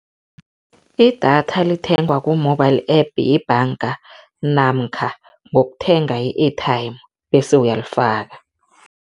Idatha lithengwa ku-mobile app yebhanga namkha ngokuthenga i-airtime bese uyalifaka.